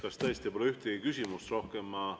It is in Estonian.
Kas tõesti pole ühtegi küsimust rohkem?